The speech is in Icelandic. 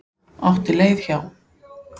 Átti leið hjá.